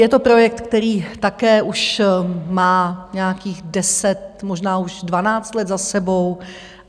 Je to projekt, který také už má nějakých deset, možná už dvanáct let za sebou.